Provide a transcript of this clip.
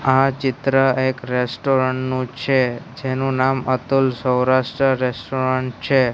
આ ચિત્ર એક રેસ્ટોરન્ટ નું છે જેનું નામ અતુલ સૌરાષ્ટ્ર રેસ્ટોરન્ટ છે.